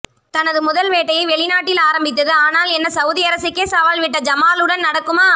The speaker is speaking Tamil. தனது முதல் வேட்டையை வெளிநாட்டில் ஆரம்பித்தது ஆனால் என்ன சவுதி அரசுக்கே சவால் விட்ட ஜமாலுடன் நடக்குமா